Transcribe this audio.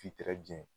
K'i jɛn